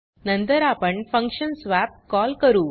नंतर आपण function swap call करू